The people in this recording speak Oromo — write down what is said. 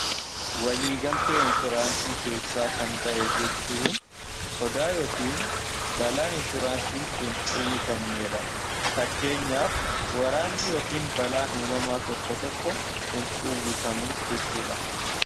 waliigaltee inshooraansii keessaa kan ba'e jechuun sodaa yookiin balaa inshooraansii hin duwwifamnee dha fakkeenyaaf waraanni yookiin balaan uumamaa tokko tokko hin dhuwwifamuus jechuudha